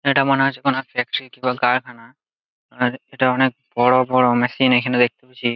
এটা মনে হচ্ছে কোন ফ্যাক্টরি কিংবা কারখানা আর এটা অনেক বড় বড় মেশিন এখানে দেখতে পাচ্ছি ।